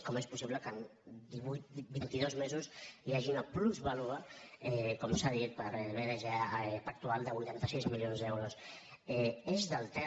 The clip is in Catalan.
com és possible que en divuit vint·i·dos mesos hi hagi una plusvàlua com s’ha dit a btg pactual de vuitanta sis milions d’euros eix del ter